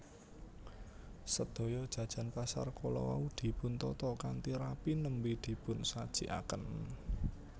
Sedaya jajan pasar kala wau dipuntata kanthi rapi nembè dipunsajikaken